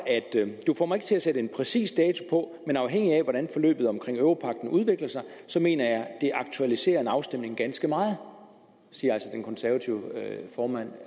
du får mig ikke til at sætte en præcis dato på men afhængig af hvordan forløbet omkring europagten udvikler sig så mener jeg at det aktualiserer en afstemning ganske meget siger altså den konservative formand